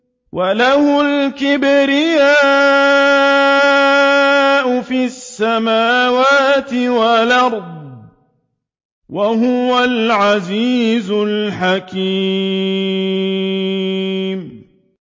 وَلَهُ الْكِبْرِيَاءُ فِي السَّمَاوَاتِ وَالْأَرْضِ ۖ وَهُوَ الْعَزِيزُ الْحَكِيمُ